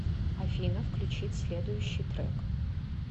афина включить следующий трэк